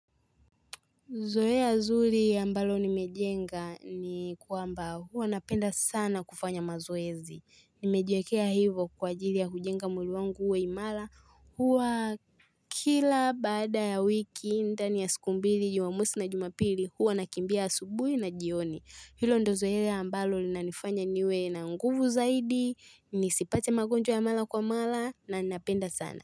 Zoea zuri ambalo nimejenga ni kwamba huwa napenda sana kufanya mazoezi. Nimejiwekea hivo kwa ajili ya kujenga mwili wangu uwe imara huwa kila baada ya wiki dani ya siku mbili jumamosi na jumapili huwa nakimbia asubuhi na jioni. Hilo ndo zoea ambalo linanifanya niwe na nguvu zaidi, nisipate magonjwa ya mara kwa mara na ninapenda sana.